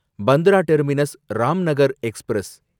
Bandra terminus Ramnagar express